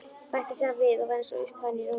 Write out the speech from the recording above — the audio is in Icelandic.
Bætti síðan við og var eins og upphafin í rómnum: